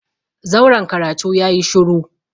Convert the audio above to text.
zauren karatu yayi shuru.